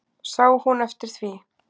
Sá hún eftir því?